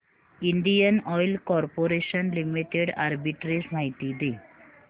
Indian oil corporation limited arbitrage माहिती दे